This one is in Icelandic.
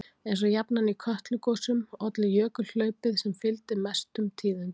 Eins og jafnan í Kötlugosum olli jökulhlaupið sem fylgdi mestum tíðindum.